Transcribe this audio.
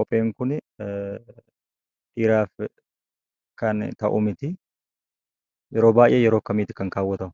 Kopheen Kunis dhiiraaf kan ta'u miti. Yeroo Kam immoo kaawwatama?